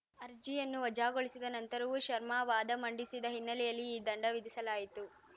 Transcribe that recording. ಅರ್ಜಿಯನ್ನು ವಜಾಗೊಳಿಸಿದ ನಂತರವೂ ಶರ್ಮಾ ವಾದ ಮಂಡಿಸಿದ ಹಿನ್ನೆಲೆಯಲ್ಲಿ ಈ ದಂಡ ವಿಧಿಸಲಾಯಿತು